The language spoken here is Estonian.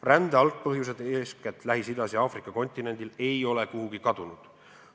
Rände algpõhjused, eeskätt Lähis-Idas ja Aafrika kontinendil ei ole kuhugi kadunud.